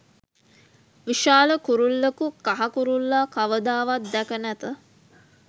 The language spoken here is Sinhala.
විශාල කුරුල්ලකු කහ කුරුල්ලා කවදාවත් දැක නැත.